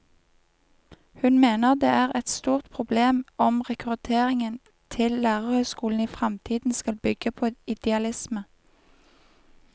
Hun mener det er et stort problem om rekrutteringen til lærerhøyskolene i fremtiden skal bygge på idealisme.